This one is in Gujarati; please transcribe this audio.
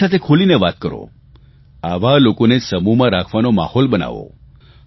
તેની સાથે ખૂલીને વાત કરો આવા લોકોને સમૂહમાં રાખવાનો માહોલ બનાવો